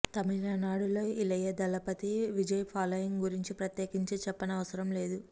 తమిళనాడు లో ఇళయదళపతి విజయ్ ఫాలోయింగ్ గురించి ప్రత్యేకించి చెప్పవసరం లేదు